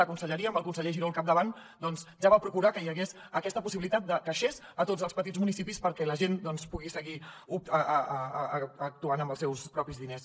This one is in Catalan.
la conselleria amb el conseller giró al capdavant ja va procurar que hi hagués aquesta possibilitat de caixers a tots els petits municipis perquè la gent pugui seguir actuant amb els seus propis diners